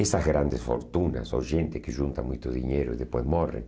Essas grandes fortunas, ou gente que junta muito dinheiro e depois morre.